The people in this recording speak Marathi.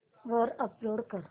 वर अपलोड कर